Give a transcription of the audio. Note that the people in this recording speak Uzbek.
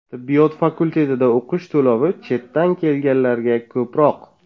Tibbiyot fakultetida o‘qish to‘lovi chetdan kelganlarga ko‘proq.